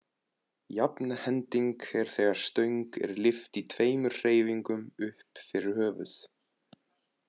Jafnhending er þegar stöng er lyft í tveimur hreyfingum upp fyrir höfuð.